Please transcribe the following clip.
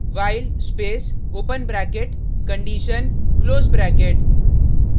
while space open bracket condition close bracket close bracket